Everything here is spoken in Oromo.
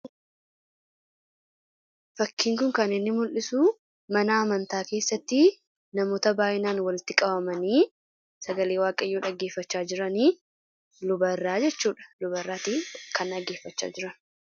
Fakkiin kun kan inni mul'isu mana amantaa keessatti namoota baayyinaan walitti qabamanii sagalee waaqayyoo dhaggeeffachaa jiranii lubairraa jechuudha luba irraa kan dhaggeeffachaa jiraniidha.